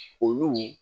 Olu